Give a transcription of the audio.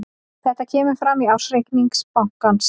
Þetta kemur fram í ársreikningi bankans